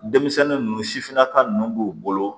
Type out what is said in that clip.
Denmisɛnnin ninnu sifinnaka ninnu b'u bolo